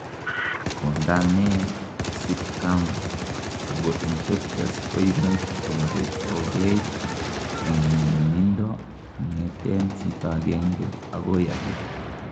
konda me sitkam ako infectious koimuch koretogei en nyumnyumindo kongeten chito agengei agoi agei